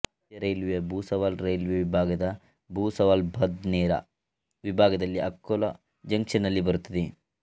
ಮಧ್ಯ ರೈಲ್ವೇಯ ಭುಸಾವಲ್ ರೈಲ್ವೆ ವಿಭಾಗದ ಭುಸಾವಲ್ಬದ್ನೇರಾ ವಿಭಾಗದಲ್ಲಿ ಅಕೋಲಾ ಜಂಕ್ಷನ್ನಲ್ಲಿ ಬರುತ್ತದೆ